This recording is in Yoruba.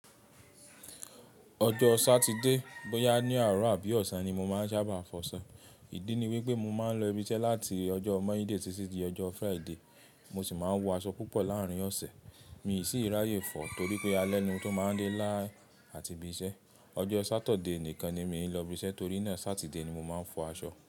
Ọjọ́ Sátidé bó yá ní àárọ̀ àbí ọ̀sán ni mo máa ń sábà fọ aṣọ. Ìdí ni wí pé mo máa ń lọ ibi iṣẹ́ láti ọjọ́ Mọ́nday sí títí ọjọ́ Friday. Mo sì máa ń wọ aṣọ púpọ̀ láàárín ọ̀sẹ̀. Mi sì ì ráyè fọ̀ torí pé alẹ́ ni mó to máa ń dé lá àti ibi iṣẹ́. Ọjọ́ Sátode nìkan ni mì í lọ ibi iṣẹ́ torí náà Sátide ni mo máa ń fọ aṣọ.